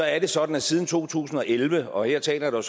er det sådan at siden to tusind og elleve og her taler jeg